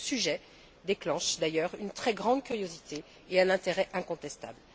Ce sujet déclenche, d'ailleurs, une très grande curiosité et un intérêt incontestable.